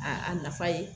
A a nafa ye